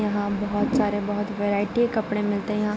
यहाँ बहुत सारे बहुत वैरायटी के कपड़े मिलते हैं यहाँ |